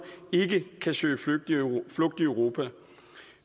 ikke kan søge tilflugt i europa